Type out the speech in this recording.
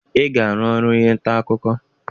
Ị ga-arụ ọrụ onye nta akụkọ!